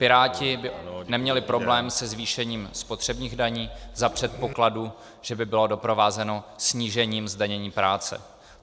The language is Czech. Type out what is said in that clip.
Piráti by neměli problém se zvýšením spotřebních daní za předpokladu, že by bylo doprovázeno snížením zdanění práce.